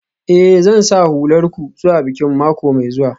Eh, Zan sa hular ku zuwa bikin mako mai zuwa.